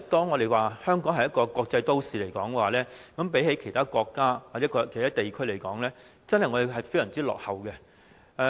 我們說香港是一個國際都會，但相比其他國家或地區，我們真的非常落後。